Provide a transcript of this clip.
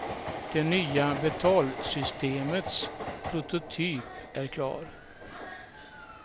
Det nya betalsystemets prototyp är klar.